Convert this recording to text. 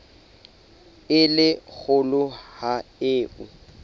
e le kgolo ho eo